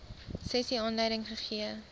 sessie aanleiding gegee